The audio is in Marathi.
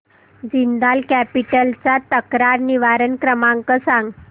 जिंदाल कॅपिटल चा तक्रार निवारण क्रमांक सांग